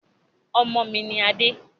Ọmọ mi ni adé